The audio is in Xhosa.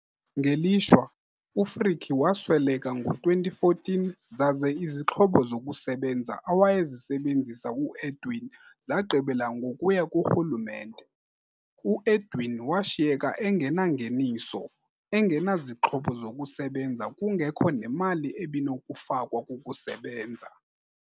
Ngelishwa, uFrikkie wasweleka ngo-2014 zaze izixhobo zokusebenza awayezisebenzisa uEdwin zagqibela ngokuya kurhulumente. UEdwin washiyeka engenangeniso, engenazixhobo zokusebenza kungekho nemali ebinokufakwa kukusebenza.